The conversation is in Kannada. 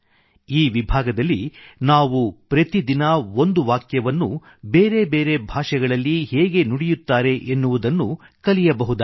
ಈ ವಿಭಾಗದಲ್ಲಿ ನಾವು ಪ್ರತಿದಿನ ಒಂದು ವಾಕ್ಯವನ್ನು ಬೇರೆ ಬೇರೆ ಭಾಷೆಗಳಲ್ಲಿ ಹೇಗೆ ನುಡಿಯುತ್ತಾರೆ ಎನ್ನುವುದನ್ನು ಕಲಿಯಬಹುದಾಗಿದೆ